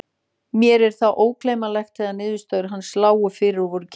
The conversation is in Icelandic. Mér er það ógleymanlegt þegar niðurstöður hans lágu fyrir og voru kynntar.